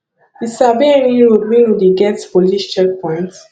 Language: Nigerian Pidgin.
you sabi any road wey no dey get police checkpoints